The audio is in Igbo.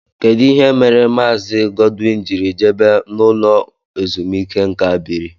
Kedụ ihe mere Maazi Godwin jírí jebe no ụlọ ezumike nká biri?